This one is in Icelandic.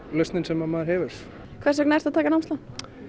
lausnin sem maður hefur hvers vegna ertu að taka námslán